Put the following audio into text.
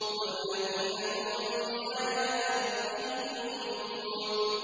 وَالَّذِينَ هُم بِآيَاتِ رَبِّهِمْ يُؤْمِنُونَ